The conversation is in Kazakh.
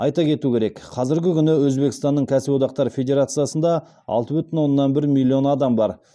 айта кету керек қазіргі күні өзбекстанның кәсіподақтар федерациясында алты бүтін оннан бір миллион адам бар